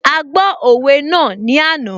A gbọ́ òwe náà ní àná